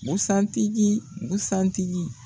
Busan tigi busan tigi.